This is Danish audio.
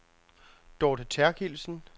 Dorthe Therkildsen